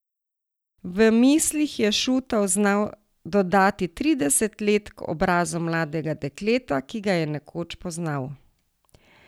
V mislih je Šutov znal dodati trideset let k obrazu mladega dekleta, ki ga je nekoč poznal.